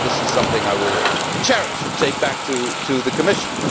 This is something I will cherish and take back to the Commission.